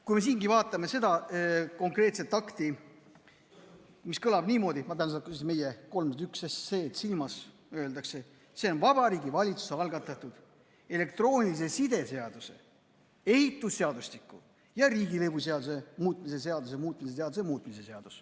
Kui me vaatame seda konkreetset akti – ma pean silmas seda meie 301 SE-d –, siis siingi öeldakse, see on Vabariigi Valitsuse algatatud elektroonilise side seaduse, ehitusseadustiku ja riigilõivuseaduse muutmise seaduse eelnõu.